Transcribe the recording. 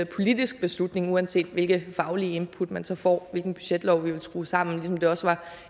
politisk beslutning uanset hvilke faglige input man så får hvilken budgetlov vi vil skrue sammen ligesom det også var